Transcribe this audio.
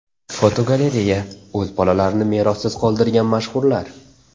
Fotogalereya: O‘z bolalarini merossiz qoldirgan mashhurlar.